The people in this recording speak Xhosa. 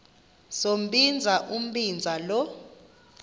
sombinza umbinza lo